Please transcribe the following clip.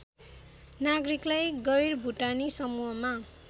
नागरिकलाई गैरभुटानी समूहमा